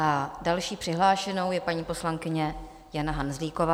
A další přihlášenou je paní poslankyně Jana Hanzlíková.